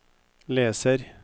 leser